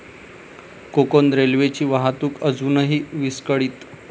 कोकण रेल्वेची वाहतूक अजूनही विस्कळीत